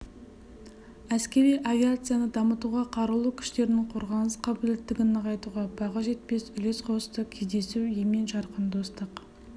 әскери авиацияны дамытуға қарулы күштерінің қорғаныс қабілеттілігін нығайтуға баға жетпес үлес қосты кездесу емен-жарқын достық